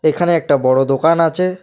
এখানে একটা বড়ো দোকান আছে।